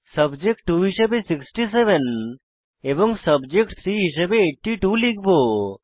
subject 2 হিসাবে 67 subject 3 হিসাবে 82 লিখব